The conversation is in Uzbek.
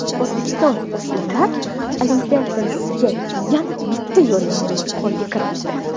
O‘zbekiston o‘smirlar Olimpiadasiga yana bitta yo‘llanmani qo‘lga kiritdi.